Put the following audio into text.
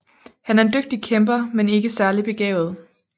Han er en dygtig kæmper men ikke særlig begavet